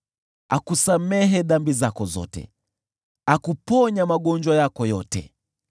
akusamehe dhambi zako zote, akuponya magonjwa yako yote,